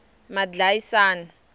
madlayisani